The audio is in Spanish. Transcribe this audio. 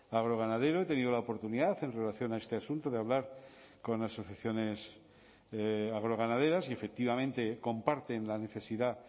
agroganadero he tenido la oportunidad en relación a este asunto de hablar con asociaciones agroganaderas y efectivamente comparten la necesidad